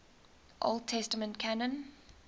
old testament canon